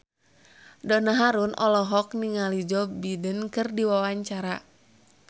Donna Harun olohok ningali Joe Biden keur diwawancara